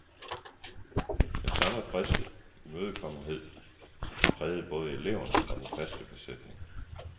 Den samme friske imødekommenhed prægede både eleverne og den faste besætning.